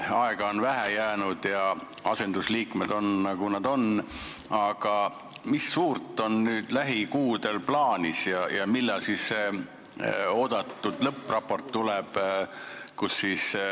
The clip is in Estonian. Aega on vähe jäänud ja asendusliikmed on, nagu nad on, aga mis suurt on nüüd lähikuudel plaanis ja millal oodatud lõppraport tuleb?